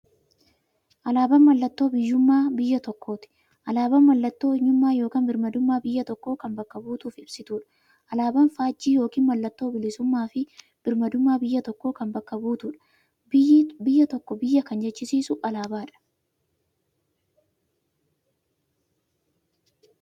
Alaaban mallattoo biyyuummaa biyya tokkooti. Alaabaan mallattoo eenyummaa yookiin birmaadummaa biyya tokkoo kan bakka buutuuf ibsituudha. Alaaban faajjii yookiin maallattoo bilisuummaafi birmaadummaa biyya tokkoo kan bakka buutuudha. Biyya tokko biyya kan jechisisuu alaabadha.